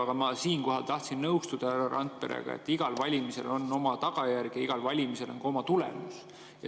Aga ma siinkohal tahtsin nõustuda härra Randperega, et igal valimisel on oma tagajärg ja igal valimisel on ka oma tulemus.